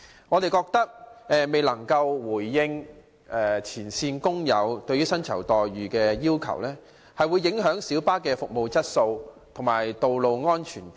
我們認為政府未有回應前線司機對薪酬待遇的要求，會影響小巴的服務質素和道路安全。